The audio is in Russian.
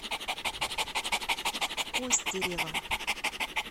костерево